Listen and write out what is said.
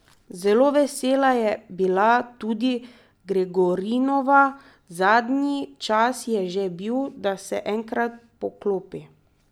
Zelo vesela je bila tudi Gregorinova: 'Zadnji čas je že bil, da se enkrat poklopi.